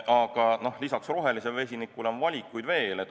Aga lisaks rohelisele vesinikule on valikuid veel.